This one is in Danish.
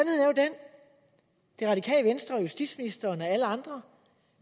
det radikale venstre justitsministeren og alle andre